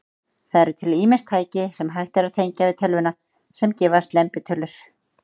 Það eru til ýmis tæki, sem hægt er að tengja við tölvuna, sem gefa slembitölur.